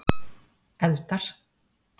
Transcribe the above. Eldar